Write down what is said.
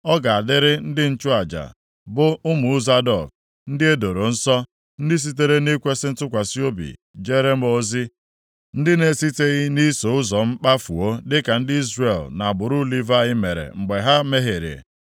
Ọ ga-adịrị ndị nchụaja, bụ ụmụ Zadọk ndị e doro nsọ, ndị sitere nʼikwesị ntụkwasị obi jeere m ozi, ndị na-esiteghị nʼiso ụzọ m kpafuo dịka ndị Izrel na agbụrụ Livayị mere mgbe ha mehiere.